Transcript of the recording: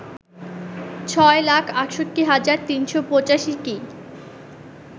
৬ লাখ ৬৮ হাজার ৩৮৫টি